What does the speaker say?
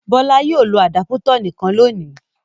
Bọ́lá yóò lo àdápútọ̀ nìkan lónìí.